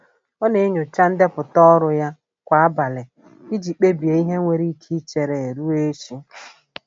Ọ na-enyocha ndepụta ọrụ ya kwa abalị iji kpebie ihe nwere ike ichere ruo echi.